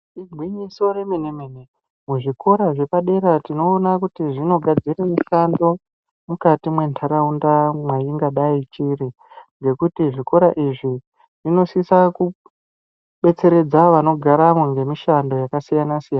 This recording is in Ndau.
Igwinyiso remene-mene, muzvikora zvepadera tinoona kuti zvinogadzire mushando mukati mwentaraunda mwachingadai chiri. Ngekuti zvikora izvi zvinosisa kubetseredza vanogaramo ngemishando yakasiyana siyana.